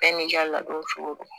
Bɛɛ n'i ka ladon cogo don